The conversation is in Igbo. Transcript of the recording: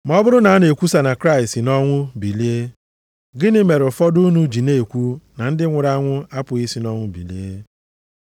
Ma ọ bụrụ na a na-ekwusa na Kraịst si nʼọnwụ bilie, gịnị mere ụfọdụ unu ji na-ekwu na ndị nwụrụ anwụ apụghị isi nʼọnwụ bilie ọzọ.